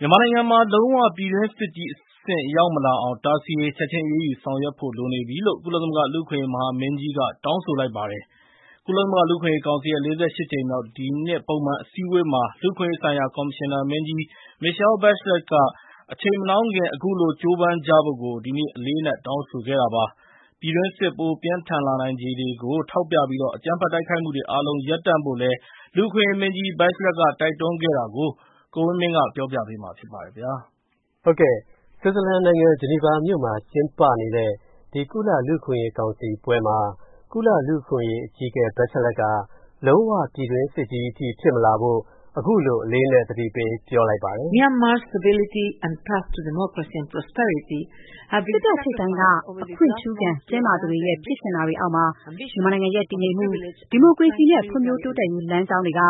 မြန်မာနိုင်ငံမှာ လုံးဝ ပြည်တွင်းစစ်ကြီးအဆင့် ရောက်မလာအောင် တားဆီးရေး၊ ချက်ချင်းအရေးယူဆောင်ရွက်ဖို့လိုနေပြီလို့ ကုလမသဂ္ဂ လူ့အခွင့်အရေးမဟာမင်းကြီးက တောင်းဆိုလိုက်ပါတယ်။ ကုလလူ့အခွင့်အရေးကောင်စီရဲ့ ၄၈ ကြိမ်မြောက် ဒီနှစ်ပုံမှန်အစည်းအဝေးမှာ လူ့အခွင့်အရေးဆိုင်ရာကော်မရှင်နာမင်းကြီး Michelle Bachelet က အချိန်မနှောင်းခင်အခုလို ကြိုးပမ်းကြဖို့ ဒီနေ့ အလေးအနက် တောင်းဆိုခဲ့တာပါ။ ပြည်တွင်းစစ် ပိုပြင်းထန်လာနိုင်ခြေတွေကိုထောက်ပြပြီး အကြမ်းဖက်တိုက်ခိုက်မူတွေအားလုံး ရပ်တန့်ဖို့လည်း လူ့အခွင့်အရေးမင်းကြီး Bachelet တိုက်တွန်းခဲ့တာကို ကိုဝင်းမင်းက ပြောပြမှာပါ။ ဆွစ်ဇာလန်နိုင်ငံ ဂျီနီဗာမြို.မှာ ကျင်းပနေတဲ့ ဒီကုလ လူ့အခွင့်အရေးကောင်စီပွဲမှာ၊ ကုလလူ့အခွင့်ရေးအကြီးအကဲ Bachelet က လုံးဝပြည်တွင်းစစ်ကြီးအထိဖြစ်မလာဖို့ အခုလို အလေးအနက် သတိပေးပြောလိုက်ပါတယ်။ “စစ်တပ်ထိပ်ပိုင်းက အခွင့်ထူးခံ၊ တင်းမာသူတွေရဲ့ ဖြစ်ချင်တာတွေအောက်မှာ၊ မြန်မာနိုင်ငံရဲ့ တည်ငြိမ်မူ၊ ဒီမိုကရေစီနဲ့ ဖွံဖြိုးတိုးတက်ရေးလမ်းကြောင်းတွေက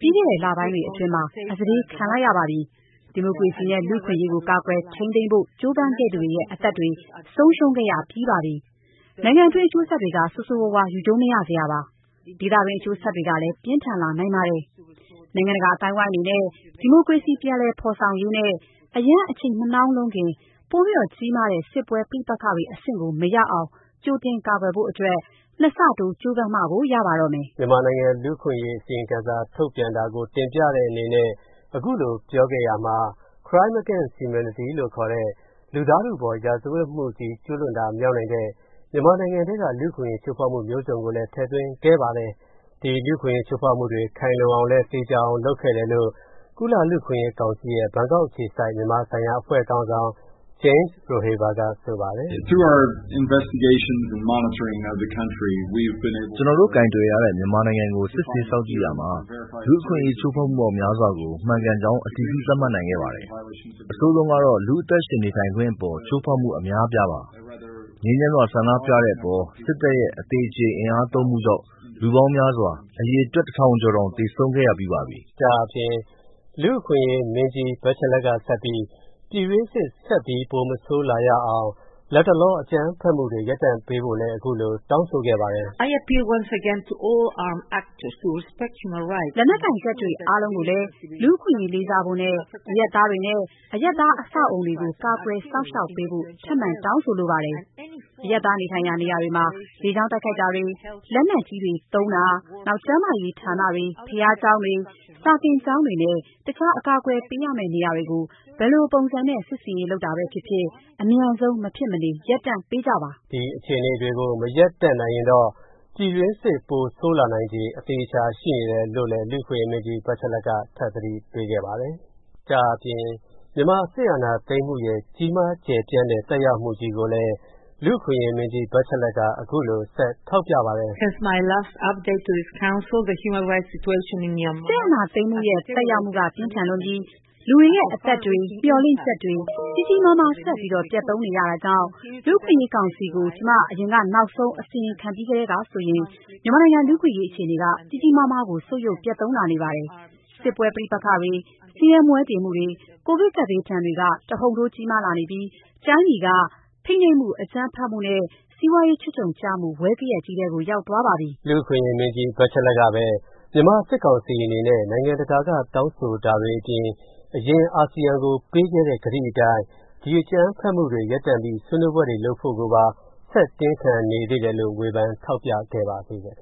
ပြီးခဲ့တဲ့လပိုင်းတွေအတွင်းမှာ အစတေးခံလိုက်ရပါပြီ။ ဒီမိုကရေစီနဲ့ လူ့အခွင့်အရေးကို ကာကွယ်ထိန်းသိမ်းဖို့ ကြိုးပမ်းခဲ့သူတွေရဲ့ အသက်တွေဆုံးရူံးခဲ့ရပြီးပါပြီ။ နိုင်ငံတွင်း အကျိုးဆက်တွေက ဆိုးဆိုးဝါးဝါး ယူကြုံးမရစရာပါ။ ဒေသတွင်း အကျိုးဆက်တွေကလည်း ပြင်းထန်လာနိုင်ပါတယ်။ နိုင်ငံတကာအသိုင်းအဝိုင်းအနေနဲ့ ဒီမိုကရေစီပြန်လည်ဖော်ဆောင်ရေးနဲ့ အရမ်းအချိန်မနှောင်းလွန်းခင် ပိုပြီးတော့ကြီးမားတဲ့ စစ်ပွဲဋိပက္ခတွေအဆင့်ကို မရောက်အောင် ကြိုတင်ကာကွယ်ဖို့အတွက် ၂ ဆ တိုးကြိုးပမ်းမှကို ရပါတော့မယ်။” မြန်မာနိုင်ငံလူ့အခွင့်ရေးအစီရင်ခံစာထုတ်ပြန်တာကို တင်ပြတဲ့အနေနဲ့ အခုလိုပြောခဲ့ရာမှာ၊ Crime against Humanity လို့ခေါ်တဲ့ လူသားထုအပေါ် ရာဇဝတ်မူကြီး ကျုးလွန်တာမြောက်နိုင်တဲ့ မြန်မာနိုင်ငံထဲက လူ့အခွင့်အရေးချိုးဖောက်မူမျိုးစုံကိုလည်း ထည့်သွင်းခဲ့ပါတယ်။ ဒီလူအခွင့်အရေးချိုးဖောက်မူတွေအတွက် ခိုင်လုံအောင်လည်း သေချာအောင်လုပ်ခဲ့တယ်လို့ ကုလ လူ့အခွင့်အရေးကောင်စီရဲ့ ဘန်ကောက်အခြေစိုက် မြန်မာဆိုင်ရာအဖွဲ့ခေါင်းဆောင် James Rodehaver က ဆိုပါတယ်။ “ကျွန်တော်တို့ ကိုင်တွယ်ရတဲ့ မြန်မာနိုင်ငံအခြေအနေကို စစ်ဆေးစောင့်ကြည့်ရာမှာ၊ လူ့အခွင့်အရေးချိုးဖောက်မူပေါင်းများစွာကို မှန်ကန်ကြောင်း အတည်ပြုသတ်မှတ်နိုင်ခဲ့ပါတယ်။ အဆိုးဆုံးကတော့ လူ့အသက်ရှင်နေထိုင်ခွင့်အပေါ် ချိုးဖောက်မူအများအပြားပါ။ ငြိမ်းချမ်းစွာ ဆန္ဒပြခဲ့ကြတဲ့အပေါ် စစ်တပ်ရဲ့ အသေအကျေအင်အားသုံးမူကြောင့် လူပေါင်းများစွာ၊ အရေအတွက် ၁၀၀၀ ကျော်တောင်၊ သေဆုံးခဲ့ရပြီးပါပြီ။” ဒါ့အပြင် လူ့အခွင့်ရေးမင်းကြီး Bachelet ကဆက်ပြီး ပြည်တွင်းစစ် ဆက်ပြီး ပိုမဆိုးလာရအောင်၊ လတ်တလော အကြမ်းဖက်မူတွေ ရပ်တန့်ပေးဖို့လည်း၊ အခုလို တောင်းဆိုခဲ့ပါတယ်။” “လက်နက်ကိုင်တပ်တွေအားလုံးကိုလည်း လူအခွင့်အရေးလေးစားဖို့နဲ့ အရပ်သားတွေနဲ့ အရပ်သားအဆောက်အအုံတွေကို ကာကွယ်စောင့်ရှောက်ပေးဖို့ ထပ်မံ တောင်းဆိုလိုပါတယ်။ အရပ်သားနေထိုင်ရာနေရာတွေမှာ၊ လေကြောင်းတိုက်ခိုက်တာတွေ၊ လက်နက်ကြီးတွေသုံးတာ၊ နောက် ကျန်းမာရေးဌာနတွေ၊ ဘုရားကျောင်းတွေ၊ စာသင်ကျောင်းတွေနဲ့ တခြားအကာအကွယ်ပေးရမဲ့နေရာတွေကို ဘယ်လိုပုံစံနဲ့ စစ်ဆင်ရေးလုပ်တာ ပဲဖြစ်ဖြစ်၊ အမြန်ဆုံး မဖြစ်မနေ ရပ်တန့်ပေးကြပါ။” ဒီအခြေအနေတွေကို မရပ်တန့်နိုင်ရင်တော့ ပြည်တွင်းစစ်ပိုဆိုးလာနိုင်ခြေ အသေအချာရှိနေတယ်လို့လည်း လူ့အခွင့်ရေးမင်းကြီး Bachelet က ထပ်သတိပေးခဲ့ပါတယ်။ ဒါ့အပြင် မြန်မာစစ်အာဏာသိမ်းမူရဲ့ ကြီးမားကျယ်ပြန့်တဲ့ သက်ရောက်မူကြီးကိုလည်း၊ လူ့အခွင့်ရေးမင်းကြီး Bachelet က အခုလို ဆက်ထောက်ပြပါတယ်။ “စစ်အာဏာသိမ်းမူရဲ့ သက်ရောက်မူ ပြင်းထန်လွန်းပြီး၊ လူတွေရဲ့အသက်တွေ၊ မျှော်လင့်ချက်တွေ ကြီးကြီးမားမား ဆက်ပြီးတော့ ပျက်သုံးနေရတာကြောင့်၊ လူ့အခွင့်အရေးကောင်စီကို ကျွန်မ အရင်နောက်ဆုံးအစီရင်ခံပြီးထဲကဆိုရင်၊ မြန်မာနိုင်ငံ လူ့အခွင့်အရေးအခြေအနေက ကြီးကြီးမားမားကို ဆုတ်ယုတ်ပျက်သုန်းလာနေပါတယ်။ စစ်ပွဲပဋိပက္ခတွေ၊ ဆင်းရဲမွဲတေမူတွေ၊ ကိုဗစ်ကပ်ဘေးဒဏ်တွေက တဟုန်ထိုးကြီးမားလာနေပြီး၊ တိုင်းပြည်က ဖိနှိပ်မူ၊ အကြမ်းဖက်မူနဲ့ စီးပွားရေးချွတ်ခြုံကျမူ ဝဲဂယက်ကြီးထဲကို ရောက်သွားပါပြီ။” လူ့အခွင့်ရေးမင်းကြီး Bachelet ကပဲ၊ မြန်မာစစ်ကောင်စီအနေနဲ့ နိုင်ငံတကာကတောင်းဆိုတာတွေအပြင်၊ အာဆီယံကို အရင်ပေးထားခဲ့တဲ့ ကတိအတိုင်း ဒီအကြမ်းဖက်မူတွေရပ်ပြီး၊ ဆွေးနွေးပွဲတွေလုပ်ဖို့ကိုပါ ဆက်တင်းခံနေသေးတယ်လို့လည်း ဝေဖန်ထောက်ပြခဲ့ပါသေးတယ် ခ